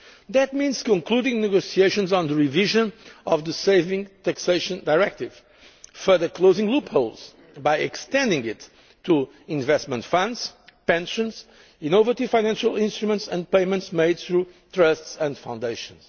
further. That means concluding the negotiations on the revision of the Savings Taxation Directive, further closing loopholes by extending it to investment funds, pensions, innovative financial instruments and payments made through trusts and foundations.